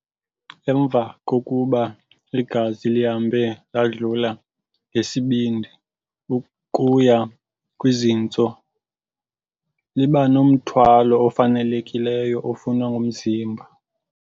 Emva kokuba igazi lihambe ladlula ngesibindi ukuya kwizintso, libanomthwalo ofanelekileyo ofunwa ngumzimba.